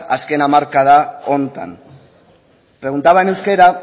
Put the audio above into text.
azken hamarkada honetan preguntaba en euskera